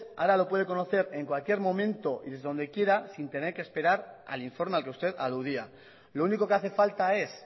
ahora lo puede conocer en cualquier momento y desde donde quiera sin tener que esperar al informe al que usted aludía lo único que hace falta es